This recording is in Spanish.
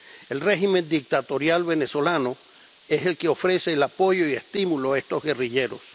El régimen dictatorial venezolano es el que ofrece el apoyo y estímulo a estos guerrilleros.